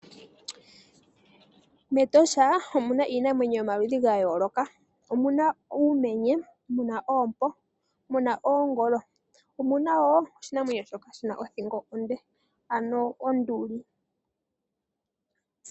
MEtosha omu na iinamwenyo yomaludhi ga yooloka, omuna uumenye, mu na oompo, mu na oongolo, omu na wo oshinamwenyo shoka shi na othingo onde, ano onduli.